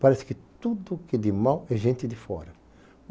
Parece que tudo que é de mal é gente de fora.